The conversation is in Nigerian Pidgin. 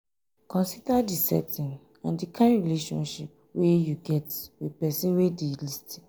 consider di setting and di kind relationship wey you get with person wey dey um lis ten